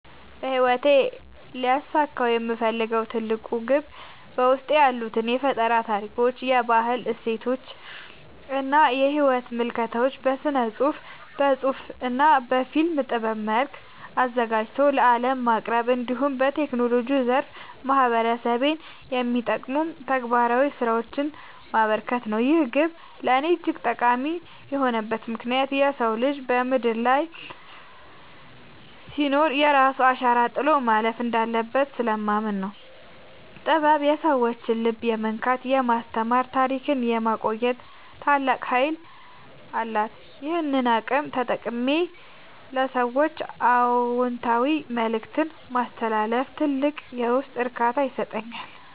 በሕይወቴ ሊያሳካው የምፈልገው ትልቁ ግብ በውስጤ ያሉትን የፈጠራ ታሪኮች፣ የባህል እሴቶችና የሕይወት ምልከታዎች በሥነ-ጽሑፍ (በመጽሐፍ) እና በፊልም ጥበብ መልክ አዘጋጅቶ ለዓለም ማቅረብ፣ እንዲሁም በቴክኖሎጂው ዘርፍ ማኅበረሰቤን የሚጠቅሙ ተግባራዊ ሥራዎችን ማበርከት ነው። ይህ ግብ ለእኔ እጅግ ጠቃሚ የሆነበት ምክንያት የሰው ልጅ በምድር ላይ ሲኖር የራሱን አሻራ ጥሎ ማለፍ እንዳለበት ስለማምን ነው። ጥበብ የሰዎችን ልብ የመንካት፣ የማስተማርና ታሪክን የማቆየት ታላቅ ኃይል አላት፤ ይህንን አቅም ተጠቅሜ ለሰዎች አዎንታዊ መልእክት ማስተላለፍ ትልቅ የውስጥ እርካታን ይሰጠኛል።